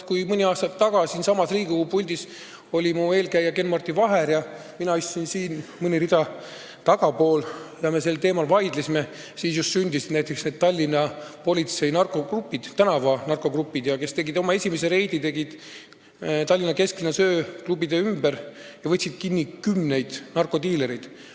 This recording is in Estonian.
Kui mõni aasta tagasi siinsamas Riigikogu puldis oli mu eelkäija Ken-Marti Vaher, mina istusin mõni rida tagapool ja me sel teemal vaidlesime, just siis sündisid näiteks Tallinna politsei tänavanarkogrupid, kes tegid oma esimese reidi Tallinna kesklinnas ööklubide ümber ja võtsid kinni kümneid narkodiilereid.